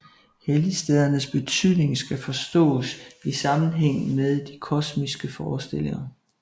Helligstedernes betydning skal forstås i sammenhæng med de kosmologiske forestillinger